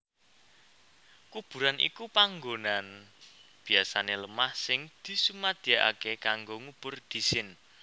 Kuburan iku panggonan biasané lemah sing disumadyakaké kanggo ngubur dhisin